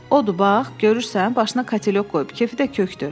Odur bax, görürsən, başına katelök qoyub, kefi də kökdür.